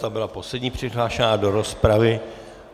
Ta byla poslední přihlášená do rozpravy.